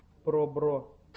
пробро